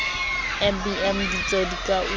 mbm ditso di ka una